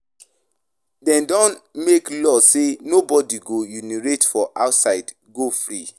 De don make law say nobody go urinate for outside go free